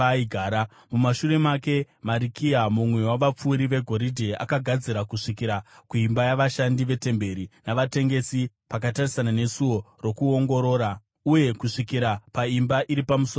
Mumashure make Marikiya, mumwe wavapfuri vegoridhe, akagadzira kusvikira kuimba yavashandi vetemberi navatengesi, pakatarisana neSuo Rokuongorora, uye kusvikira paimba iri pamusoro pekona;